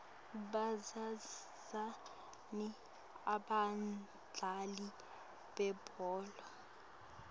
bazuzani abadlali bebhola